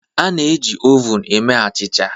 A na-eji ovun eme achịcha